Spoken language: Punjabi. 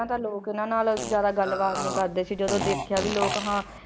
ਪਹਿਲਾਂ ਤਾਂ ਲੋਕ ਇਹਨਾਂ ਨਾਲ ਜ਼ਿਆਦਾ ਗੱਲਬਾਤ ਨੀ ਕਰਦੇ ਸੀ ਜਦੋਂ ਦੇਖਿਆ ਵੀ ਲੋਕ ਹਾਂ